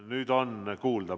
Nüüd on kuulda.